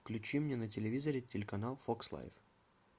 включи мне на телевизоре телеканал фокс лайф